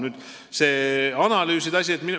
Nüüd analüüsidest.